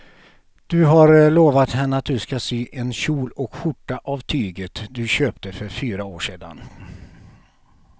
Du har lovat henne att du ska sy en kjol och skjorta av tyget du köpte för fyra år sedan.